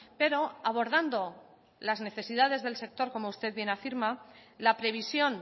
pero abordando las necesidades del sector como usted bien afirma la previsión